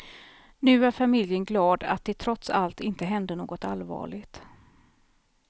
Nu är familjen glad att det trots allt inte hände något allvarligt.